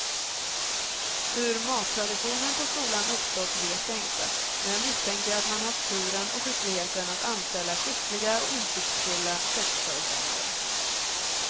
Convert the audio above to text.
Hur mattraditionen på skolan uppstått vet jag inte, men jag misstänker att man haft turen och skickligheten att anställa skickliga och insiktsfulla köksföreståndare.